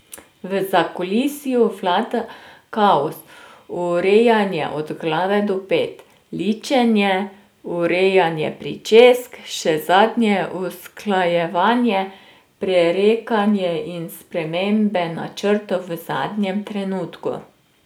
V zakulisju vlada kaos, urejanje od glave do pet, ličenje, urejanje pričesk, še zadnje usklajevanje, prerekanje in spremembe načrtov v zadnjem trenutku.